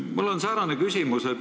Mul on säärane küsimus.